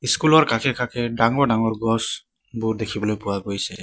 School ৰ কাষে কাষে ডাঙৰ ডাঙৰ গছবোৰ দেখিবলৈ পোৱা গৈছে।